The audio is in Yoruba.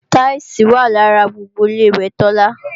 táílsìì wà lára gbogbo Ilé-ìwẹ̀ Tọ́lá